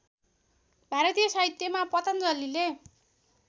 भारतीय साहित्यमा पतञ्जलिले